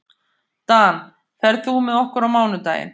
Dan, ferð þú með okkur á mánudaginn?